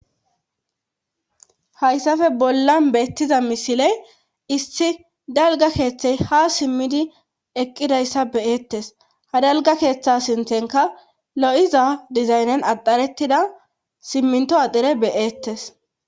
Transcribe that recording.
hayssafe bolla beettiza misiley issi dalga keeththey ha simmidi eqqidayssa beyettes ha dalga keeththa sinthenka lo7iza dizaynen axarettida simminto adhere be'ettes